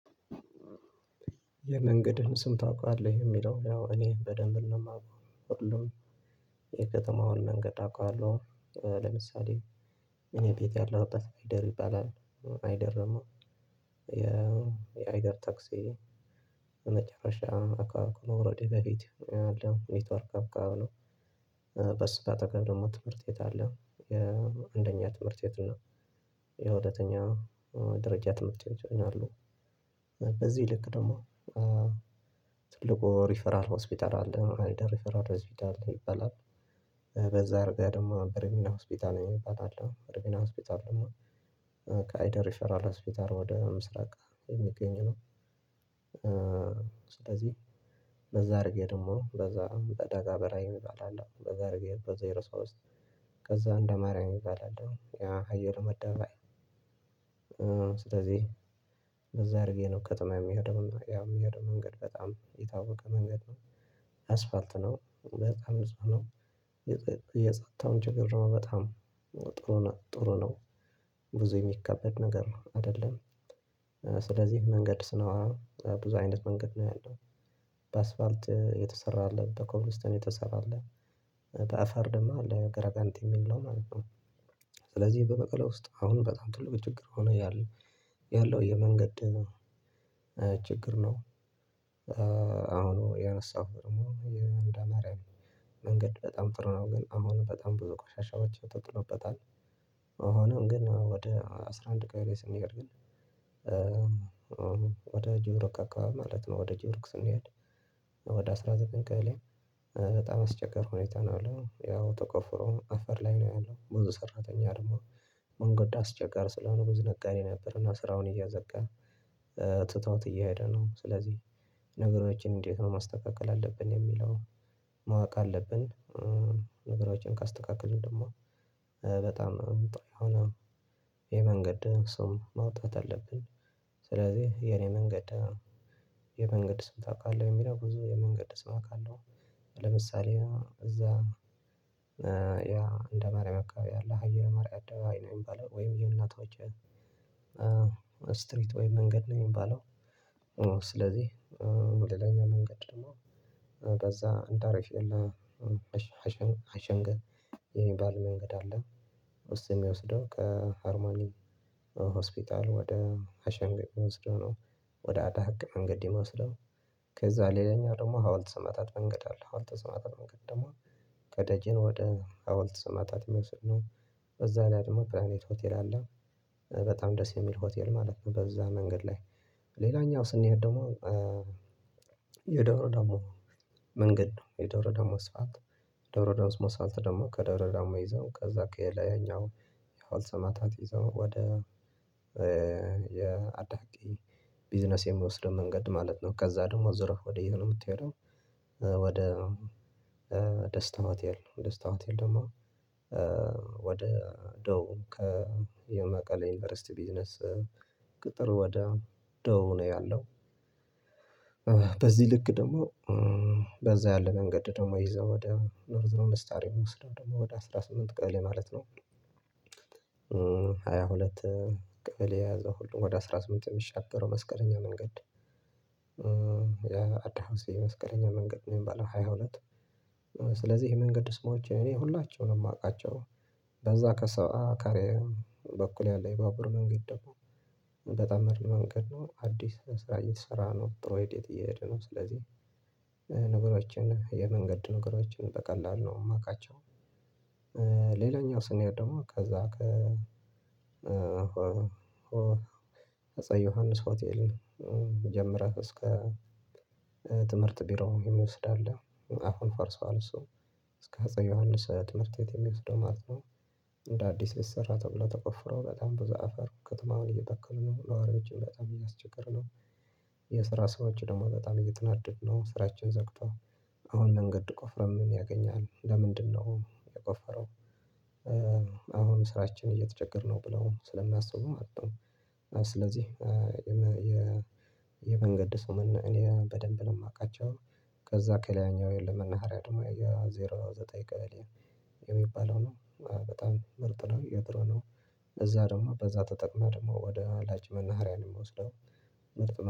የመንገድህን ስም ታውቃለህ? የሚለው ያው እኔ በደንብ ነው የማውቀው ሁሉን የከተማውን መንገድ አውቃለሁ። ለምሳሌ እኔ ቤት ያለሁበት አይደር ይባላል አይደረ ደግም የአይደር ታክሲ በመጨረሻ አካባቢ ነው ከመውረዴ በፊት ያለው ኔትወርክ ጋር ነው በእሱ በአጠገብ ደግሞ ትምህርት ቤት አለ የአንደኛ ትምህርት ቤት እና የሁለተኛ ደረጃ ትምህርት ቤት አለው በዚህ ልክ ደግሞ ትልቁ ሪፈራል ሆስፒታል አለ ራይደር ሪፈራል ሆስፒታል ይበላል በዛ እርግጠኛ ደግሞ በረሚና ሆስፒታል እበላለሁ በረሚና ሆስፒታል ደግሞ ከአይደር ሪፈራል ሆስፒታል ወደ ምስራቅ የሚገኝ ነው ስለዚህ በዛ አድርጌ ደግሞ በዛ በደጋ በራዬ መጣላለሁ በዛ አድርጌ በዛ ዜሮ ሶስት ውስጥ ከዛ እንደ ማርያም መጣለሁ ያ ሀየሩ አደባባይ ስለዚህ በዛ አድርጌ ነው ከተማ የሚሄደው ያ የሚሄደው መንገድ በጣም የታወቀ መንገድ ነው አስፋልት ነው በጣም ብዙ ነው። የጸጥታውን ችግር ነው በጣም ጥሩ ነው ጥሩ ነው ብዙ የሚካበድ ነገር አይደለም ስለዚህ መንገድ ስኖር ብዙ አይነት መንገድ ነው ያለው በአስፋልት የተሰራ አለ በኮብልስቶን የተሰራ አለ በአፈር ደግሞ ለገራ ገንት የሚል ነው ማለት ነው ስለዚህ በመቀሌ ውስጥ አሁን በጣም ትልቅ ችግር ሆኖ ያለው ያለው የመንገድ ችግር ነው አሁኑ ያነሳሁት ደግሞ የእንደ ማርያም መንገድ በጣም ጥር ነው ግን አሁን በጣም ብዙ ቆሻሻዎች ተጥሎበታል ሆኖም ግን ወደ አስራ አንድ ቀን ላይ ስንሄድ ግን ወደ ጆሮክ አካባቢ ማለት ነው ወደ ጆሮክ ስንሄድ ወደ አስራ ዘጠኝ ቀበሌ በጣም አስቸጋሪ ሁኔታ ነው ያለው ተቆፍሮ አፈር ላይ ነው ያለው ብዙ ሰራተኛ አድርጎ መንገድ አስቸጋሪ ስለሆነ ብዙ ነጋዴ ነበር እና ስራውን እያዘጋ ትተውት እየሄደ ነው ስለዚህ ነገሮችን እንዴት ነው ማስተካከል አለብን የሚለው ማወቅ አለብን። ነገሮችን ካስተካከልን ደግሞ በጣም የሆነ የመንገድ ሰው መውጣት አለብን ስለዚህ የኔ መንገድ የመንገድ ስም ታውቃለህ የሚረግ ብዙ የመንገድ ስም አውቃለው ለምሳሌ እዛ ያ እንደ ማርያም አከባቢ አለ ሃየረ መርያ ወይ የሚባለው ወይ የእናቷ ስትሪት ወይ መንገድ ነው የሚባለው ነው ስለዚህ ሁለተኛ መንገድ ደግሞ በዛ እንዳረፍ የለም አሸንገህ የሚባል መንገድ አለ ውስጥ የሚወስደው ከሀርማኒ ሆስፒታል ወደ አሸንገው የሚወስደው ነው ወደ አዳህቅ መንገድ የሚወስደው ከዛ ሌላኛው ደግሞ ሀውልት ሰማዕታት መንገድ አለ ሀውልት ስማዕታት መንገድ ደግሞ ከደጄን ወደ ሀውልት ሰማዕታት የሚወስድ ነው በዛ ላይ ደግሞ ፕላኔት ሆቴል አለ በጣም ደስ የሚል ሆቴል ማለት ነው በዛ መንገድ ላይ ሌላኛው ስንሄድ ደግሞ የደብረ ዳሞ መንገድ ነው የደብረ ዳሙ ሰዓት ደብረ ዳሙ ስም ሰዓት ደግሞ ከዶሮ ዳማ ይዘው ከዛ ከላይኛው የሀውልት ሰማዕታት ይዘው ወደ የአዳቂ ቢዝነስ የሚወስደው መንገድ ማለት ነው ከዛ ደግሞ ዞረህ ወደ የት ነው የምትሄደው ወደ ደስታ ሆቴል ደስታ ሆቴል ደግሞ ወደ ደው ከየመቀሌ ዩኒቨርሲቲ ቢዝነስ ቅጥር ወደ ደቡብ ነው ያለው በዚህ ልክ ደግሞ በዛ ያለ መንገድ ደግሞ ይዘው ወደ ኖርዘሮን ስታር የምወስደው ደግሞ ወደ አስራ ስምንት ቀለ ማለት ነው ሃያ ሁለት ቀለ የያዘው ሁሉም ወደ አስራ ስምንት የሚሻገረው መስቀለኛ መንገድ አዳሃውስ የመስቀለኛ መንገድ ነው የሚባለው ሃያ ሁለት ስለዚህ የመንገድ ስሞች እኔ ሁላችሁም ነው የማውቃቸው በዛ ከሰአት አካሪያ በኩል ያለ የባቡር መንገድ ደግሞ በጣም መንገድ ነው አዲስ ስራ እየተሰራ ነው ፕሮይድ እየሄደ ነው ስለዚህ ነገሮችን የመንገድ ነገሮችን በቀላሉ ነው የማውቃቸው ሌላኛው ስንያድ ደግሞ ከዛ ከ ዮሐንስ ሆቴልን ጀምረህ እስከ ትምህርት ቢሮ የሚወስድ አለ አሁን ፈርሷል እሱ እስከ አፄ ዮሐንስ ትምህርት ቤት የሚወስደው ማለት ነው እንደ አዲስ ልትሰራ ተብሎ ተቆፍሮ በጣም በዛ አፈሩ ከተማውን እየተከሉ ነው ነዋሪዎችም በጣም እያስቸገርነው የስራ ሰዎች ደግሞ በጣም እየተናደድን ነው ስራችን ዘግተው አሁን መንገድ ቆፍረህ የሚያገኝ ነው ለምንድነው የቆፈረው አሁን ስራችን እየተቸገርነው ብለው ስለምያስቡ ማለት ነው ስለዚህ የመንገድ ሰው እኔ በደንብ ነው የማውቃቸው ከዛ ከሌላኛው የለምና አርአድ ማይ ዜሮ ዘጠኝ ቀበሌ የሚባለው ነው በጣም ምርጥ ነው የጥሮ እዛ ደግሞ በዛ ተጠቅመህ ደግሞ ወደ አላጅ መናሃሪያን የምወስደው ምርጥ